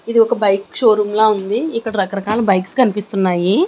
ఇది ఒక bike showroom లా ఉంది ఇక్కడ రకరకాల బైక్స్ కనిపిస్తున్నాయి.